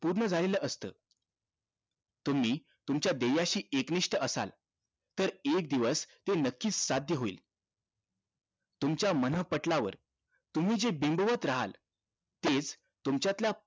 पूर्ण झालेलं असत तुम्ही तुमच्या ध्येयाशी एकनिष्ठ असाल तर एक दिवस ते नक्कीच साध्य होईल तुमच्या मन पटलावर तुम्ही जे बिंदावत रहाल तेच तुमच्यातल्या